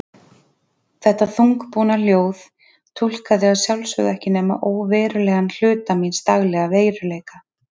Þetta þungbúna ljóð túlkaði að sjálfsögðu ekki nema óverulegan hluta míns daglega veruleika.